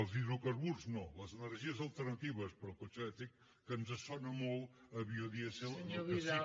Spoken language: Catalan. els hidrocarburs no sinó les energies alternatives per al cotxe elèctric que ens sona molt a biodièsel del